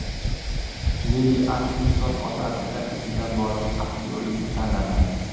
Lili Atkinson otasining izidan borib aktyorlikni tanlamadi.